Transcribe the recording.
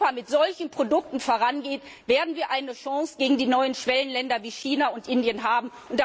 Denn nur wenn Europa mit solchen Produkten vorangeht, werden wir eine Chance gegen die neuen Schwellenländer wie China und Indien haben.